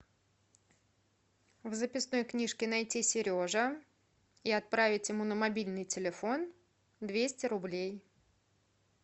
в записной книжке найти сережа и отправить ему на мобильный телефон двести рублей